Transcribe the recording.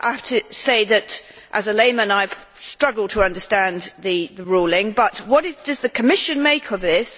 I have to say that as a layman I have struggled to understand the ruling, but what does the Commission make of this?